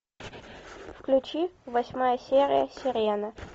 включи восьмая серия сирены